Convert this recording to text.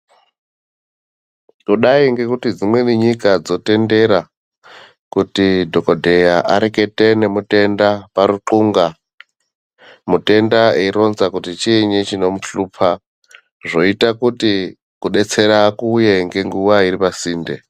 Kudai ngekuti dzimweni nyika dzotendera kuti dhogodheya arekete nematenda paruxunga. Mutenda eironza kuti chiinyi chinomuhlupa. Zvoita kuti kudetsera kuuye ngenguva iri pasinde.